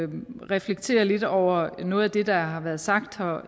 reflekterer lidt over noget af det der har været sagt her